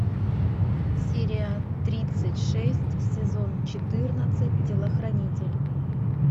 серия тридцать шесть сезон четырнадцать телохранитель